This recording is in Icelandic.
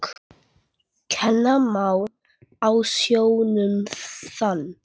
Ég labbaði aftur á bak.